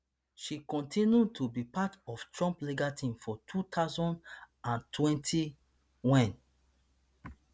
she kontinu to be part of trump legal team for two thousand and twenty wen